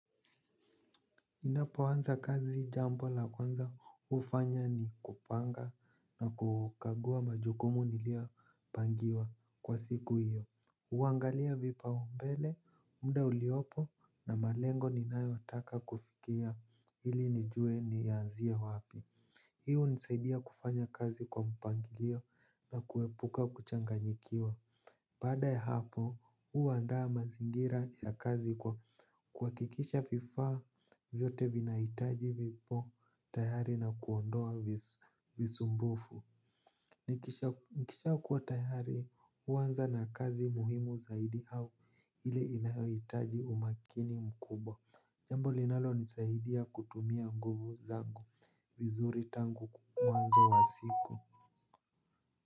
Ninapoanza kazi jambo la kwanza ufanya ni kupanga na kukagua majukumu nilio pangiwa kwa siku hiyo. Uangalia vipa umbele, muda uliopo na malengo ninayotaka kufikia hili nijue ni yaanzia wapi. Hi unisaidia kufanya kazi kwa mpangilio na kuwepuka kuchanganyikiwa. Bada ya hapo, uwa andaa mazingira ya kazi kwa kuwakikisha viafa vyote vinahitaji vipo tayari na kuondoa visumbufu nikisha kuwatayari, uwanza na kazi muhimu zaidi au ili inahitaji umakini mkubwa. Jambo linalo nisaidia kutumia nguvu zangu, vizuri tangu mwanzo wa siku.